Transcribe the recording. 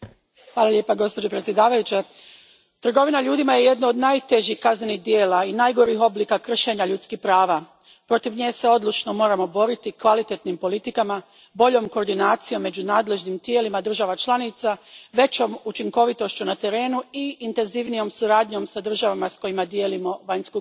Gospođo predsjednice, trgovina ljudima jedno je od najtežih kaznenih djela i najgorih oblika kršenja ljudskih prava. Protiv nje se odlučno moramo boriti kvalitetnim politikama, boljom koordinacijom među nadležnim tijelima država članica, većom učinkovitošću na terenu i intenzivnijom suradnjom s državama s kojima dijelimo vanjsku granicu.